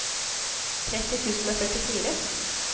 tretti tusen og førtifire